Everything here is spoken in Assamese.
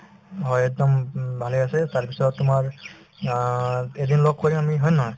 হয়, একদম উম উম ভালে আছে তাৰপিছত তোমাৰ অ এদিন লগ কৰিম আমি হয় নে নহয়